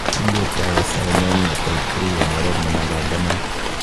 Kindie Tyrosinemia type 3 en oret nemapanganat.